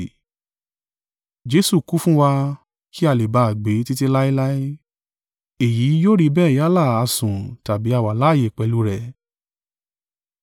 Jesu kú fún wa kí a lè ba à gbé títí láéláé. Èyí yóò rí bẹ́ẹ̀ yálà a sùn tàbí a wà láààyè pẹ̀lú rẹ̀.